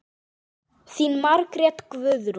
Þín Margrét Guðrún.